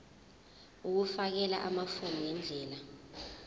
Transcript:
ukufakela amafomu ngendlela